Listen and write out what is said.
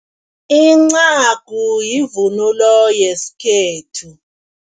Incagu yivunulo yesikhethu.